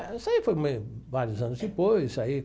Isso aí foi vários anos depois aí.